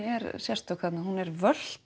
er sérstök þarna hún er